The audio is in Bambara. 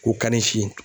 K'u ka ni si